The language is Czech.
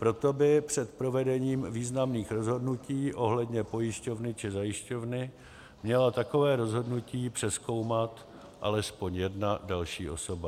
Proto by před provedením významných rozhodnutí ohledně pojišťovny či zajišťovny měla takové rozhodnutí přezkoumat alespoň jedna další osoba.